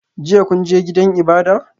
Jiya kun je gidan ibada?